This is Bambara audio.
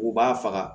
U b'a faga